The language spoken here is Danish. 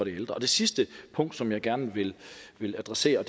ældre det sidste punkt som jeg gerne vil adressere